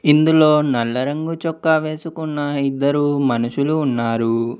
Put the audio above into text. ఇందులో నల్ల రంగు చొక్కా వేసుకున్న ఇద్దరు మనుషులు ఉన్నారు.